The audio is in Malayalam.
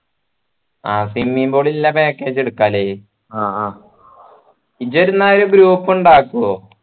ആ swimming pool ഇള്ള package എട്ക്ക അല്ലെ അ ആ ഇജ്ജെന്ന ഒരു group ഇണ്ടാക്കുഓ